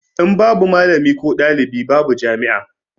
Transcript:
In babu malami ko ɗalibi babu jami'a